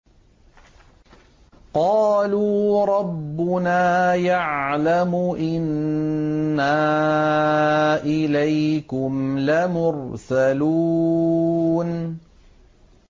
قَالُوا رَبُّنَا يَعْلَمُ إِنَّا إِلَيْكُمْ لَمُرْسَلُونَ